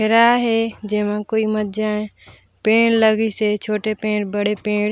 घेरा हे जेमा कोई मत जाये पेड़ लगिस हे छोटे पेड़ बड़े पेड़--